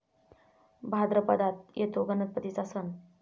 भाद्रपदात येतो गणपतीचा सण.